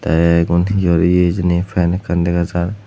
tay egun hiyor ye hijeni fan ekkan dagajar.